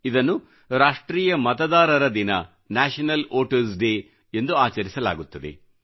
ಇದನ್ನು ರಾಷ್ಟ್ರೀಯ ಮತದಾರರ ದಿನ ನ್ಯಾಶನಲ್ ವೋಟರ್ಸ್ ಡೇ ಎಂದು ಆಚರಿಸಲಾಗುತ್ತದೆ